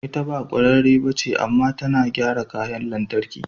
Ita ba kwararre ba ce, amma tana gyara kayan lantarki.